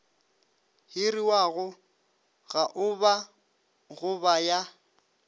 hiriwago gaoba go ba ya